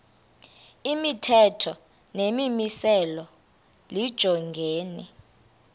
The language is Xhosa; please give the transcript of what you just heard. imithetho nemimiselo lijongene